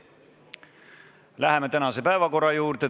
Läheme tänase päevakorra juurde.